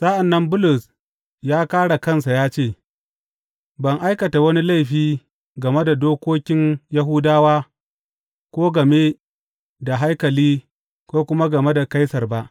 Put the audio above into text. Sa’an nan Bulus ya kāre kansa ya ce, Ban aikata wani laifi game da dokokin Yahudawa ko game da haikali ko kuma game da Kaisar ba.